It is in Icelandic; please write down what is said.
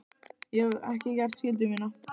Ég hef ekki gert skyldu mína.